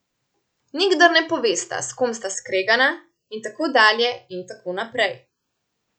Nikdar ne povesta, s kom sta skregana, in tako dalje in tako naprej.